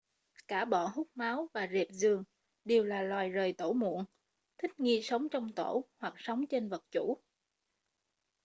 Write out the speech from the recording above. cả bọ hút máu và rệp giường đều là loài rời tổ muộn thích nghi sống trong tổ hoặc sống trên vật chủ